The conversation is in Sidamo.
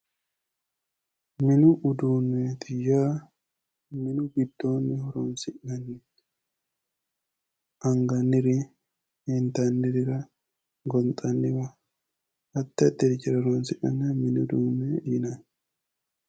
Mini uduunneeti yaa mini giddoonni horoonsi'neemmoho. Angannirira, intannirira, gonxanniwa, addi addi hajara horoonsi'nanniha mini uduunne yinanni.